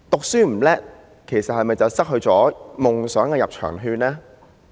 書讀不好，是否便失去了追求夢想的入場券呢？